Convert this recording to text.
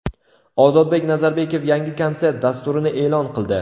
Ozodbek Nazarbekov yangi konsert dasturini e’lon qildi.